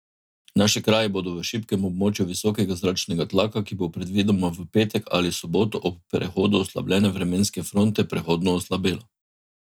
Naši kraji bodo v šibkem območju visokega zračnega tlaka, ki bo predvidoma v petek ali soboto ob prehodu oslabljene vremenske fronte prehodno oslabelo.